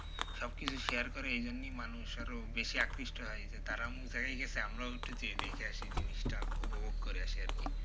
সবকিছু share করে এইজন্যেই মানুষ আরও বেশি আকৃষ্ট হয় যে তারা অমুক জায়গায় গেছে আমরাও একটু যেয়ে দেখে আসি জিনিসটা, উপভোগ করে আসি আরকি।